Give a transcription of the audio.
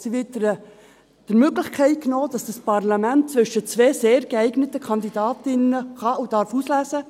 Es wird ihm die Möglichkeit genommen, dass dieses Parlament zwischen zwei sehr geeigneten Kandidatinnen auswählen kann und darf.